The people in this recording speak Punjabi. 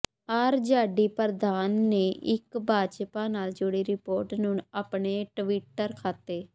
ਆਰਜੇਡੀ ਪ੍ਰਧਾਨ ਨੇ ਇੱਕ ਭਾਜਪਾ ਨਾਲ ਜੁੜੀ ਰਿਪੋਰਟ ਨੂੰ ਆਪਣੇ ਟਵਿਟਰ ਖਾਤੇ